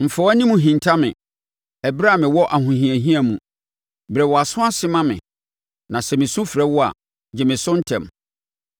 Mfa wʼanim nhinta me ɛberɛ a mewɔ ahohiahia mu. Brɛ wʼaso ase ma me; na sɛ mesu mefrɛ wo a, gye me so ntɛm.